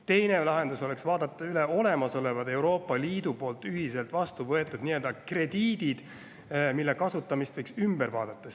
Teine lahendus oleks vaadata ümber olemasolevate Euroopa Liidus ühiselt vastu võetud krediitide kasutamine.